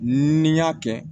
Ni n y'a kɛ